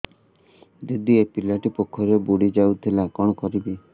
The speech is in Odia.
ଦିଦି ଏ ପିଲାଟି ପୋଖରୀରେ ବୁଡ଼ି ଯାଉଥିଲା କଣ କରିବି